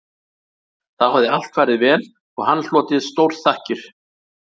Þá hafði allt farið vel og hann hlotið stórþakkir